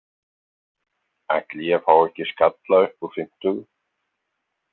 Ætli ég fái ekki skalla upp úr fimmtugu.